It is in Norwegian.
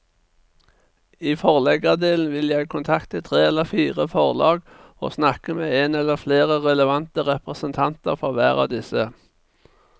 I forleggerdelen vil jeg kontakte tre eller fire forlag og snakke med en eller flere relevante representanter for hver av disse.